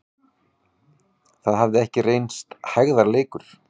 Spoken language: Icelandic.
Það hafði ekki reynst hægðarleikur.